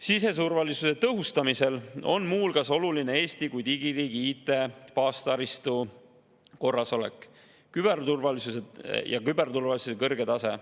Siseturvalisuse tõhustamisel on muu hulgas oluline Eesti kui digiriigi IT-baastaristu korrasolek ja küberturvalisuse kõrge tase.